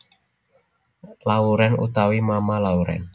Lauren utawi Mama Lauren